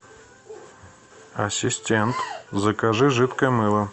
ассистент закажи жидкое мыло